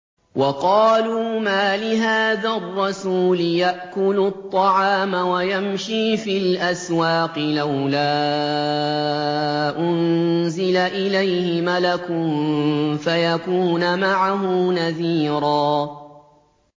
وَقَالُوا مَالِ هَٰذَا الرَّسُولِ يَأْكُلُ الطَّعَامَ وَيَمْشِي فِي الْأَسْوَاقِ ۙ لَوْلَا أُنزِلَ إِلَيْهِ مَلَكٌ فَيَكُونَ مَعَهُ نَذِيرًا